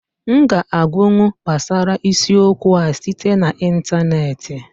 M ga-agụkwu gbasara isiokwu a site na ịntaneetị